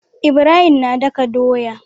Ibrahim na daka doya